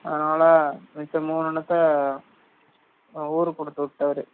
அதுனால மிச்ச மூனு என்னதா ஊருக்கு கூடுத்துவிட்டரு